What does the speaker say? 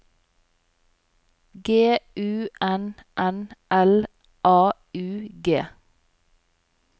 G U N N L A U G